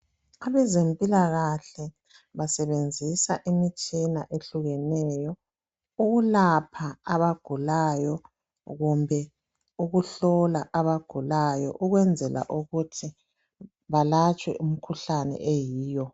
Abezempilakahle basebenzisa imitshina ehlukeneyo ukulapha abagulayo kumbe ukuhlola abagulayo ukwenzela ukuthi balatshwe imikhuhlane eyiyo.